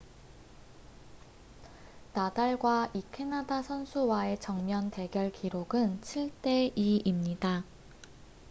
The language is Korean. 나달과 이 캐나다 선수와의 정면 대결 기록은 7 대 2입니다